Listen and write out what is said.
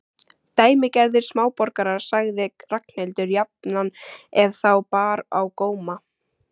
Dæmigerðir smáborgarar sagði Ragnhildur jafnan ef þá bar á góma.